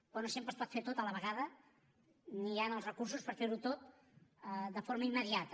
però no sempre es pot fer tot a la vegada ni hi han els recursos per fer ho tot de forma immediata